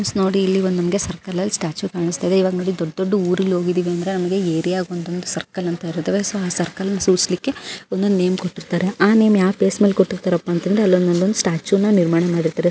. So ನೋಡಿ ಇಲ್ಲಿ circle ಅಲ್ಲಿ ಒಂದ್ ಸ್ಟ್ಯಾಚು ಕಾಣಿಸ್ತಾಯಿದೆ . ಇವಾಗ್ ನೋಡಿ ದೊಡ್ಡ್ ದೊಡ್ಡ್ ಊರಿಗೆ ಹೋಗಿದೀವಿ ಅಂದ್ರೆ ಅಲ್ಲಿ ಏರಿಯಾ ಗೆ ಒಂದ್ ಒಂದ್ ಸರ್ಕಲ್ ಅಂತ ಇರುತವೆ ಆ ಸರ್ಕಲ್ ನ ಸೂಚಿಸಲಿಕೆ ಒಂದ್ ಒಂದ್ ನೇಮ್ ಕೊಟ್ಟಿರ್ತಾರೆ ಆ ನೇಮ್ ಯಾವ ಬೇಸ್ ಮೇಲೆ ಕೊಟ್ಟಿರ್ತಾರೆ ಅಂದ್ರೆ ಅಲ್ಲೊಂದ್ ಸ್ಟ್ಯಾಚು ನ ನಿರ್ಮಾಣ ಮಾಡಿರ್ತಾರೆ .